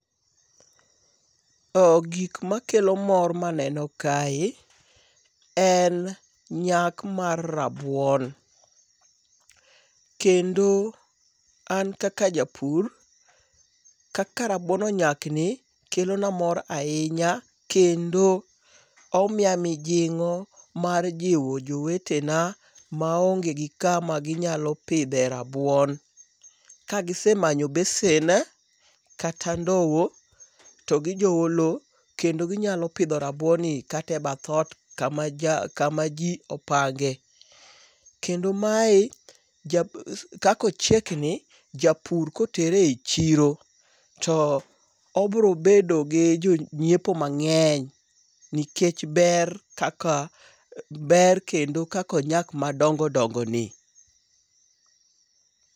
O gik makelo mor maneno kae en nyak mar rabuon kendo an kaka japur kaka rabuon onyak ni kelona mor ahinya kendo omiya mijingo mar jiwo jjowtena maonge gi kama ginyalo pidhe rabuon. Ka gisemanyo besen kata ndowo, to gijowo lowo kendo ginyalo pidho rabuon kata e bath ot kama jo kama jii opange. Kendo mae japur kako chiek ni japur kotere echiro obiro bedo gi jonyiepo mang'eny nikech ber kaka ber kendo kaka onyak madongongo ni.